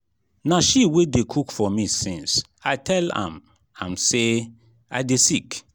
na she wey dey cook for me since i tell am am say i dey sick